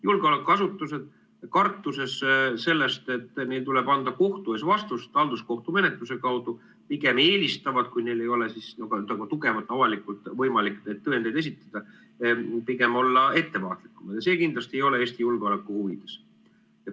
Julgeolekuasutused, kartes seda, et neil tuleb anda kohtu ees vastust halduskohtu menetluse kaudu, pigem eelistavad, kui neil ei ole tugevalt, avalikult võimalik tõendeid esitada, pigem olla ettevaatlikumad ja see kindlasti ei ole Eesti julgeoleku huvides.